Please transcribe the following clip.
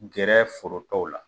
Gɛrɛ foro tɔw la